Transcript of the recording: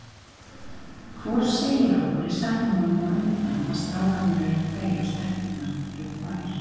Hvor segir okkur í setningunum á undan að strákarnir eru tveir og stelpurnar eru tvær.